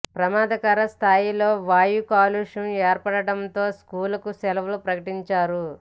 ప్రమాదకర స్థాయిలో వాయు కాలుష్యం ఏర్పడటంతో స్కూళ్లకు సెలవు ప్రకటించారు